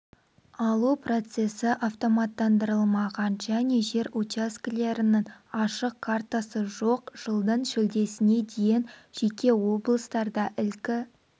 алу процесі автоматтандырылмаған және жер учаскелерінің ашық картасы жоқ жылдың шілдесіне дейін жеке облыстарда ілкі